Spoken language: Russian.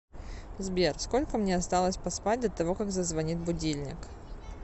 сбер сколько мне осталось поспать до того как зазвонит будильник